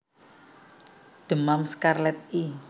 Demam skarlet i